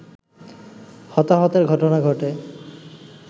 হতাহতের ঘটনা ঘটে